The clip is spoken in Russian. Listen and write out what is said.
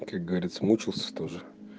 как говорится мучился тоже